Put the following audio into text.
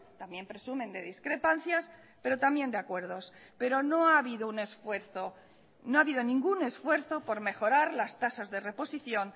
también presumen de discrepancias pero también de acuerdos pero no ha habido un esfuerzo no ha habido ningún esfuerzo por mejorar las tasas de reposición